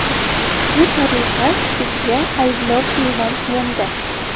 Shu tariqa bizga ayblov e’lon qilindi.